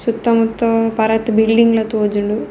ಸುತ್ತ ಮುತ್ತ ಪರತ್ ಬಿಲ್ಡಿಂಗ್ಲ ತೋಜುಂಡು.